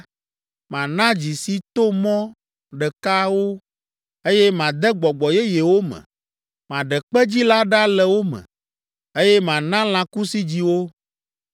Mana dzi si to mɔ ɖeka wo, eye made gbɔgbɔ yeye wo me. Maɖe kpedzi la ɖa le wo me, eye mana lãkusidzi wo.